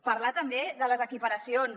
parlar també de les equiparacions